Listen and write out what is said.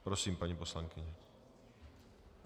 Prosím, paní poslankyně.